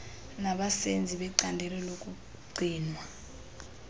nabasenzi becandelo lokugcinwa